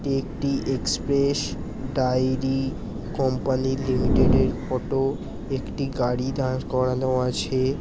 একটি express dairy company limited এর photo একটি গাড়ি দাঁড় করানো আছে।